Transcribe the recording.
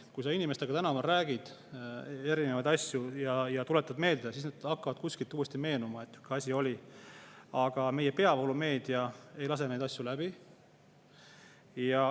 Kui sa inimestega tänaval räägid erinevatest asjadest ja tuletad neile meelde, siis hakkab kuskilt meenuma, et nii oli, aga meie peavoolumeedia ei lase neid asju läbi.